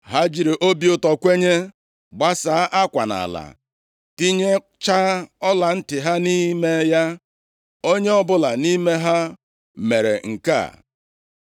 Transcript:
Ha jiri obi ụtọ kwenye, gbasaa akwa nʼala, tinyechaa ọlantị ha nʼime ya. Onye ọbụla nʼime ha mere nke a.